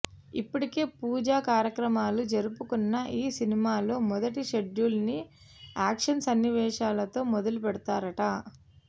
ఇప్పటికే పూజ కార్యక్రమాలు జరుపుకున్న ఈ సినిమాలో మొదటి షెడ్యూల్ ని యాక్షన్ సన్నివేశాలతో మొదలు పెడతారట